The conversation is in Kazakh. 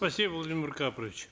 спасибо владимир карпович